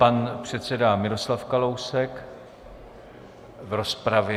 Pan předseda Miroslav Kalousek v rozpravě.